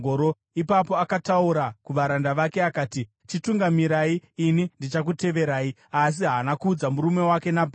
Ipapo akataura kuvaranda vake akati, “Chitungamirai; ini ndichakuteverai.” Asi haana kuudza murume wake Nabhari.